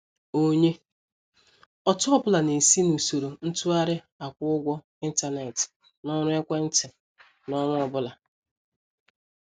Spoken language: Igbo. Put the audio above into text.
Onye ọtụ ọbụla na-esi n'usoro ntụgharị akwụ-ụgwọ intánẹ̀tị na ọrụ ekwéntị n'ọnwa ọbụla.